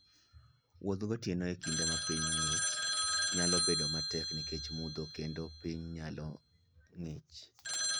Wuoth gotieno e kinde ma piny ng'ich, nyalo bedo matek nikech mudho kendo piny nyalo ng'ich.